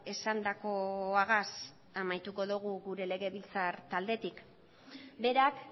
esandakoagaz amaituko dogu gure legebiltzar taldetik berak